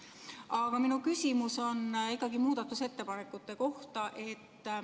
Aga minu küsimus on ikkagi muudatusettepaneku kohta.